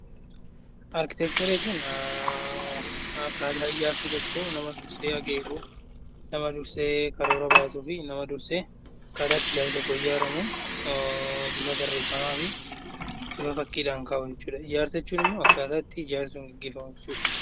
Arkiteekcharii jechuun akkaataa ijaarsa tokkoo nama dursee akeeku nama dursee karoora baasuu fi nama dursee akkaataa ijaarsi tokko itti ijaaramu bifa barreeffamaa fi bifa fakkiidhaan kaa'u jechuudha. Ijaarsa jechuun immoo akkaataa ijaarsi sun ittiin gaggeeffamu jechuudha.